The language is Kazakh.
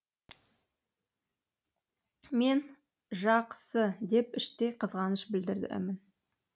мен жақ сы деп іштей қызғаныш білдіремін